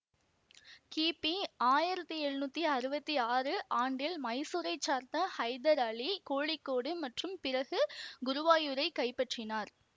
கிபி ஆயிரத்தி எழுநூற்றி அறுபத்தி ஆறு ஆண்டில் மைசூரை சார்ந்த ஹைதர் அலி கோழிக்கோடு மற்றும் பிறகு குருவாயூரை கைப்பற்றினார்